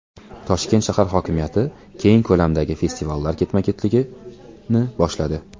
Toshkent shahar hokimiyati keng ko‘lamdagi festivallar ketma-ketligini boshladi.